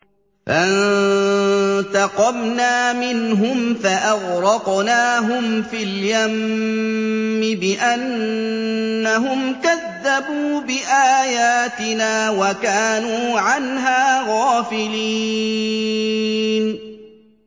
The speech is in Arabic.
فَانتَقَمْنَا مِنْهُمْ فَأَغْرَقْنَاهُمْ فِي الْيَمِّ بِأَنَّهُمْ كَذَّبُوا بِآيَاتِنَا وَكَانُوا عَنْهَا غَافِلِينَ